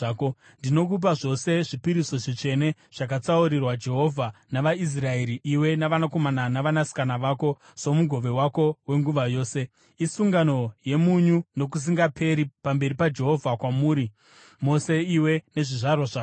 Ndinokupa zvose zvipiriso zvitsvene zvakatsaurirwa Jehovha navaIsraeri, iwe navanakomana navanasikana vako somugove wako wenguva yose. Isungano yemunyu nokusingaperi pamberi paJehovha kwamuri mose iwe nezvizvarwa zvako.”